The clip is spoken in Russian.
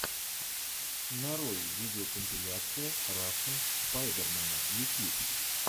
нарой видеокомпиляция рашн спайдермена ютьюб